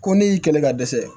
Ko ne y'i kɛlɛ ka dɛsɛ